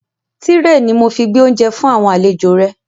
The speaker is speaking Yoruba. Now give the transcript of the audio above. Tírẹ̀ ni mo fi gbé oúnjẹ fún àwọn àlejò rẹ